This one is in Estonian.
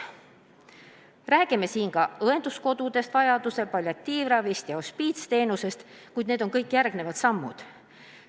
Räägime ka õenduskodudest, vajaduse korral palliatiivravist ja hospiitsteenusest, kuid need on kõik järgmised sammud.